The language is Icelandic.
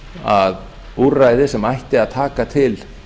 að úrræðið sem ætti að taka til